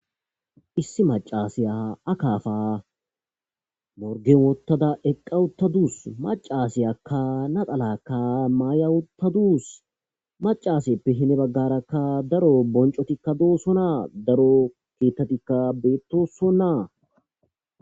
issi macasiya akafa morgemottada eqqawuttadus macasiyaka naqalakka mayawuttadus macaaseppe hine baggarakka daro boncotikka doossonnaa daro keettatikka beettossonnaa